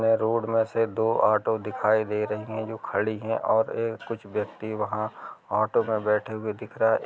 Road में से दो ऑटो दिखाई दे रही हैं जो खडी हैं। और ए कुछ व्यक्ति वहाँ ऑटो में बैठे हुए दिख --